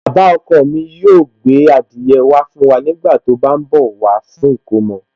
Baba ọkọ mi yóò gbé adìyẹ wá fún wa nígbà tí ó bá ń bọ̀ wá fún ìkomọ̀